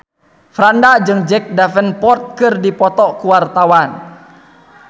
Franda jeung Jack Davenport keur dipoto ku wartawan